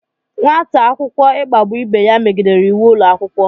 Nwata akwụkwọ ikpagbu ibe ya megidere íwú ụlọ akwụkwọ